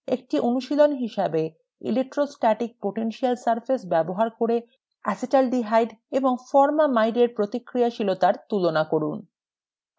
একটি অনুশীলনী হিসাবে: electrostatic potential surface ব্যবহার করে acetaldehyde এবং formamide এর প্রতিক্রিয়াশীলতার তুলনা করুন